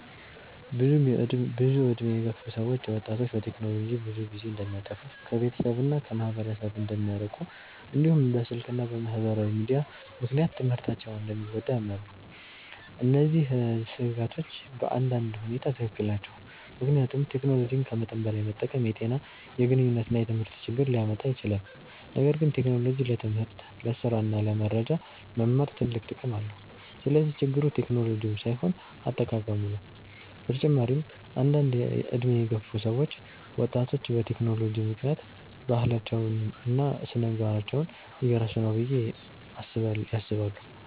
ብዙ ዕድሜ የገፉ ሰዎች ወጣቶች በቴክኖሎጂ ብዙ ጊዜ እንደሚያጠፉ፣ ከቤተሰብ እና ከማህበረሰብ እንደሚርቁ፣ እንዲሁም በስልክ እና በማህበራዊ ሚዲያ ምክንያት ትምህርታቸው እንደሚጎዳ ያምናሉ። እነዚህ ስጋቶች በአንዳንድ ሁኔታ ትክክል ናቸው፣ ምክንያቱም ቴክኖሎጂን ከመጠን በላይ መጠቀም የጤና፣ የግንኙነት እና የትምህርት ችግር ሊያመጣ ይችላል። ነገር ግን ቴክኖሎጂ ለትምህርት፣ ለስራ እና ለመረጃ መማር ትልቅ ጥቅም አለው። ስለዚህ ችግሩ ቴክኖሎጂው ሳይሆን አጠቃቀሙ ነው። በተጨማሪም አንዳንድ ዕድሜ የገፉ ሰዎች ወጣቶች በቴክኖሎጂ ምክንያት ባህላቸውን እና ስነ-ምግባራቸውን እየረሱ ነው ብለው ያስባሉ።